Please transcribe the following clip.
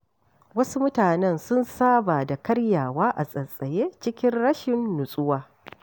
Wasu mutanen sun saba da karyawa a tsaitsaye cikin rashin nutsuwa.